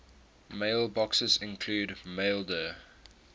mailboxes include maildir